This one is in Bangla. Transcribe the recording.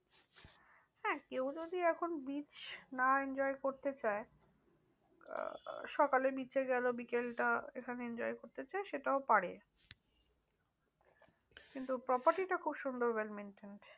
হ্যাঁ কেউ যদি এখন beach না enjoy করতে চায় সকালে beach এ গেলো বিকালটা এখানে enjoy করতে চায় সেটাও পারে। কিন্তু property খুব সুন্দর well maintained